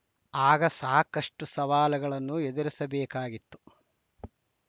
ಆಗ ಸಾಕಷ್ಟುಸವಾಲುಗಳನ್ನು ಎದುರಿಸಬೇಕಾಗಿತ್ತು